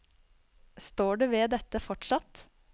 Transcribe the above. Står du ved dette fortsatt?